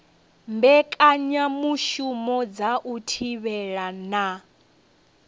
mbekanyamushumo dza u thivhela na